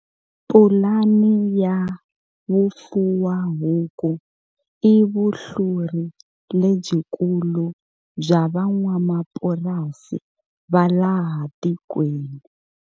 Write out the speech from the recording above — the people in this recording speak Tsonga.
Pulani ya vufuwahuku i vuhluri lebyikulu bya van'wamapurasi va laha tikweni.